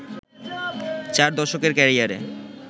চার দশকের ক্যারিয়ারে